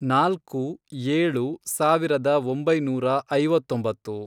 ನಾಲ್ಕು, ಏಳು, ಸಾವಿರದ ಒಂಬೈನೂರ ಐವತ್ತೊಂಬತ್ತು